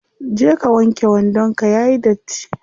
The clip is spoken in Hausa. Je ka wanke wandon ka yayi datti.